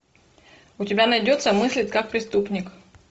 у тебя найдется мыслить как преступник